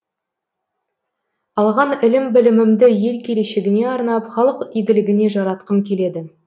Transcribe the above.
алған ілім білімімді ел келешегіне арнап халық игілігіне жаратқым келеді